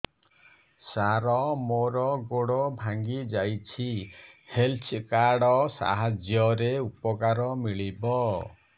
ସାର ମୋର ଗୋଡ଼ ଭାଙ୍ଗି ଯାଇଛି ହେଲ୍ଥ କାର୍ଡ ସାହାଯ୍ୟରେ ଉପକାର ମିଳିବ